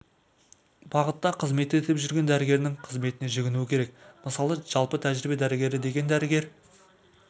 бағытта қызмет етіп жүрген дәрігердің қызметіне жүгінуі керек мысалы жалпы тәжірибе дәрігері деген дәрігер